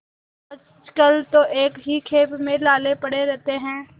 आजकल तो एक ही खेप में लाले पड़े रहते हैं